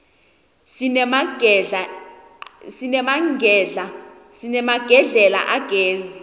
sinemagedlela agezi